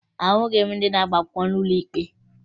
Ahụghị m ndị na-agba akwụkwọ n'ụlọ ikpe